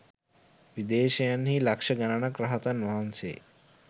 විදේශයන්හි ලක්‍ෂ ගණනක් රහතන් වහන්සේ